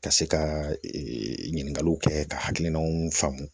Ka se ka ɲininkaliw kɛ ka hakilinaw faamu